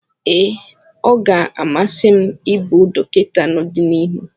Ee, ọ ga-amasị m ịbụ dọkịta n'ọdịnihu.